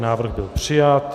Návrh byl přijat.